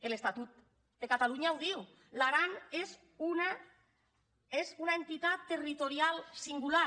l’estatut de catalunya ho diu l’aran és una entitat territorial singular